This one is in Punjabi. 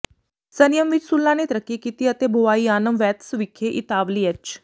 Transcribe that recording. ਸੰਨੀਅਮ ਵਿਚ ਸੁੱਲਾ ਨੇ ਤਰੱਕੀ ਕੀਤੀ ਅਤੇ ਬੋਵਾਈਆਨਮ ਵੈਤਸ ਵਿਖੇ ਇਤਾਲਵੀ ਐਚ